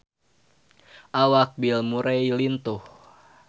Awak Bill Murray lintuh